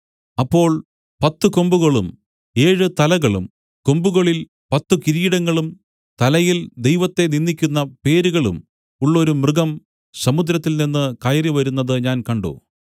അപ്പോൾ പത്തു കൊമ്പുകളും ഏഴ് തലകളും കൊമ്പുകളിൽ പത്തു കിരീടങ്ങളും തലയിൽ ദൈവത്തെ നിന്ദിക്കുന്ന പേരുകളും ഉള്ളൊരു മൃഗം സമുദ്രത്തിൽനിന്നു കയറി വരുന്നത് ഞാൻ കണ്ട്